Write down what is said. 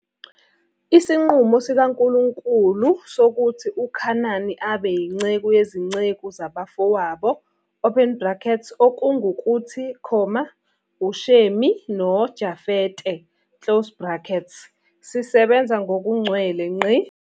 Isinqumo sikaNkulunkulu sokuthi uKhanani abe yinceku yezinceku zabafowabo open brackets okungukuthi, uShemi noJafete closed bracket sisebenza ngokugcwele.